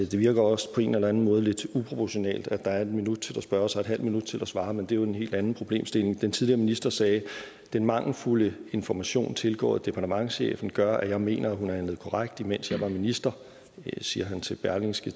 det virker også på en eller en måde lidt uproportionalt at der er en minut til at spørge og så en halv minut til at svare men det er jo en helt anden problemstilling den tidligere minister sagde den mangelfulde information tilgået departementschefen gør at jeg mener at hun har handlet korrekt imens jeg var minister det siger han til berlingske